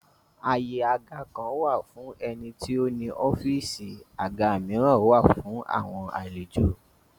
Àyè àga kan wà fún ẹni tí ó ní ọ́fìsì, àga míràn wà fún àwọn àlejò